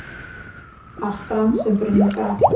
Allt brann sem brunnið gat